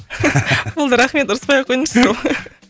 болды рахмет ұрыспай ақ қойыңызшы сол